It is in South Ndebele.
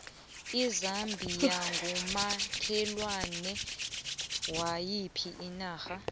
izambia ngumakhelwane wayiphi inarha